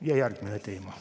Ja järgmine teema.